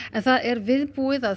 en það er viðbúið að